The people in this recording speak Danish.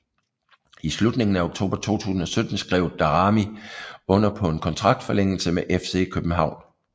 I slutningen af oktober 2017 skrev Daramy under på en kontraktforlængelse med FC København